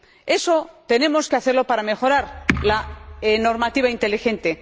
Eso tenemos que hacerlo para mejorar la normativa inteligente.